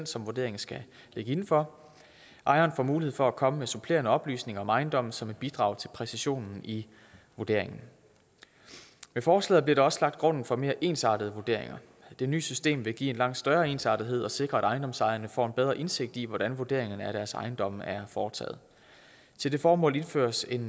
som vurderingen skal ligge inden for ejeren får mulighed for at komme med supplerende oplysninger om ejendommen som vil bidrage til præcisionen i vurderingen med forslaget bliver der også lagt grunden for mere ensartede vurderinger det nye system vil give en langt større ensartethed og sikre at ejendomsejerne får en bedre indsigt i hvordan vurderingen af deres ejendom er foretaget til det formål indføres en